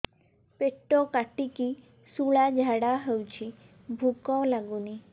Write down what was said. ପେଟ କାଟିକି ଶୂଳା ଝାଡ଼ା ହଉଚି ଭୁକ ଲାଗୁନି